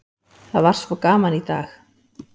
Það var svo gaman í dag!